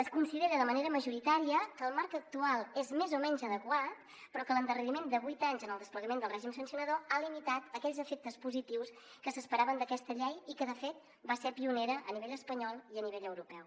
es considera de manera majoritària que el marc actual és més o menys adequat però que l’endarreriment de vuit anys en el desplegament del règim sancionador ha limitat aquells efectes positius que s’esperaven d’aquesta llei i que de fet va ser pionera a nivell espanyol i a nivell europeu